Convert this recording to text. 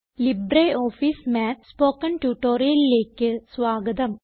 LibreOffice Math spoken ട്യൂട്ടോറിയലിലേക്ക് സ്വാഗതം